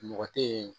Mɔgɔ tɛ ye